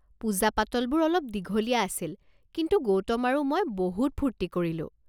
পূজা পাতলবোৰ অলপ দীঘলীয়া আছিল কিন্তু গৌতম আৰু মই বহুত ফূৰ্তি কৰিলোঁ।